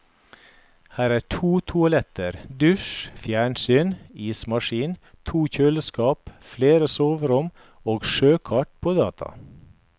Her er to toaletter, dusj, fjernsyn, ismaskin, to kjøleskap, flere soverom og sjøkart på data.